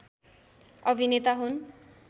अभिनेता हुन्